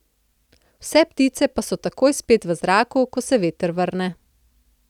Vse ptice pa so takoj spet v zraku, ko se veter vrne.